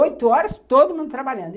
Oito horas, todo mundo trabalhando.